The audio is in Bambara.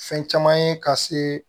Fɛn caman ye ka se